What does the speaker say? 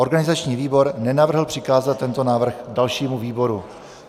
Organizační výbor nenavrhl přikázat tento návrh dalšímu výboru.